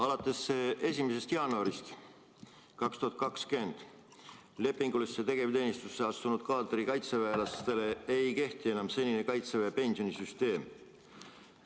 Alates 1. jaanuarist 2020 lepingulisse tegevteenistusse astunud kaadrikaitseväelastele ei kehti enam senine Kaitseväe pensionisüsteem.